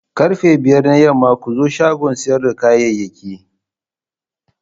Karfe biyar na yamma ku zo shagon siyar da kayayyaki.